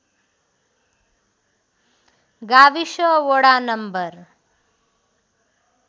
गाविस वडा नम्बर